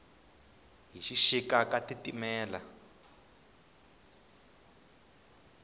hi xixika ka titimela